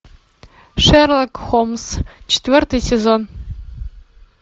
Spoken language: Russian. шерлок холмс четвертый сезон